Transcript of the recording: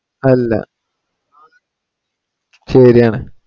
അല്ല ശരിയാണ്